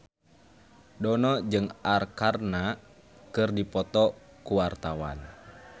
Dono jeung Arkarna keur dipoto ku wartawan